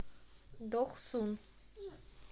дохсун